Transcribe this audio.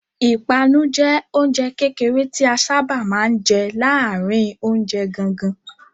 Ìpanu jẹ oúnjẹ kékeré tí a sáábà máa ń jẹ láàárin oúnjẹ gangan.